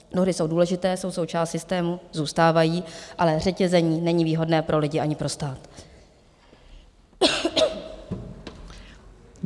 Dohody jsou důležité, jsou součástí systému, zůstávají, ale řetězení není výhodné pro lidi ani pro stát.